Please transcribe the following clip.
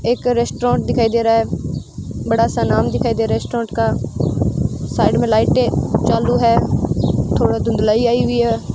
एक रेस्टोरेंट दिखाई दे रहा है बड़ा सा नाम दिखाई दे रहा है रेस्टोरेंट का साइड में लाइटें चालू है थोडा धुंधलाई आई हुई है।